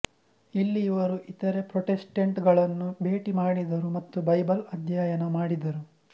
ಇಲ್ಲಿ ಅವರು ಇತರ ಪ್ರೊಟೆಸ್ಟೆಂಟ್ಗಳನ್ನು ಭೇಟಿ ಮಾಡಿದರು ಮತ್ತು ಬೈಬಲ್ ಅಧ್ಯಯನ ಮಾಡಿದರು